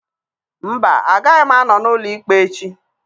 Mba, agaghị m anọ n'ụlọ ikpe echi